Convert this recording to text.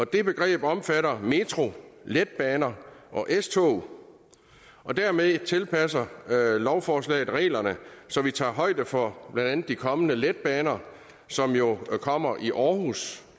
det begreb omfatter metro letbaner og s tog og dermed tilpasser lovforslaget reglerne så vi tager højde for blandt andet de kommende letbaner som jo kommer i aarhus